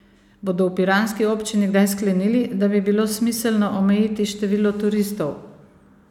Bodo v piranski občini kdaj sklenili, da bi bilo smiselno omejiti število turistov?